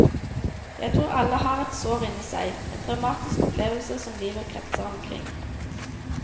Jeg tror alle har et sår inni seg, en traumatisk opplevelse som livet kretser omkring.